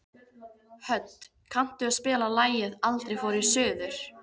Hödd, kanntu að spila lagið „Aldrei fór ég suður“?